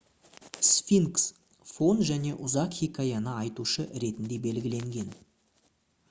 сфинкс фон және ұзақ хикаяны айтушы ретінде белгіленген